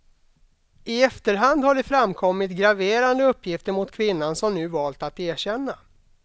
I efterhand har det framkommit graverande uppgifter mot kvinnan som nu valt att erkänna.